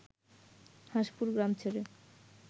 হাঁসপুর গ্রাম ছেড়ে